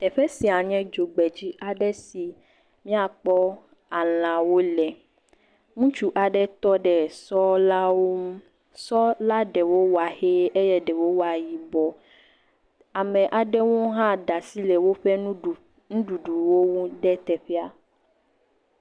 Teƒe sia nye dzogbedzi aɖe si míakpɔ alãwo le. Ŋutsu aɖe tɔ ɖe sɔlawo ŋu. sɔla ɖewo wa ʋee eye ɖewo waa yibɔɔ. Ame aɖewo hã da si le woƒe nuɖuɖuwo ŋu ɖe teƒea.